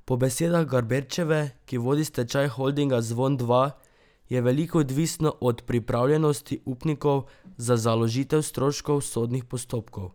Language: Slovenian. Po besedah Gaberčeve, ki vodi stečaj holdinga Zvon Dva, je veliko odvisno od pripravljenosti upnikov za založitev stroškov sodnih postopkov.